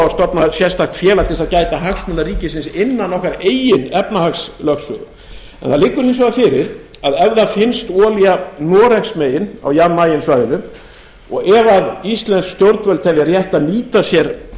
stofna sérstakt félag til þess að gæta hagsmuna ríkisins innan okkar eigin efnahagslögsögu en það liggur hins vegar fyrir að ef það finnst olía noregsmegin á jan mayen svæðinu og ef íslensk stjórnvöld telja rétt að nýta sér